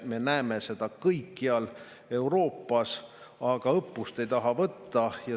Me näeme seda kõikjal Euroopas, aga õppust ei taha võtta.